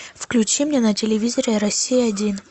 включи мне на телевизоре россия один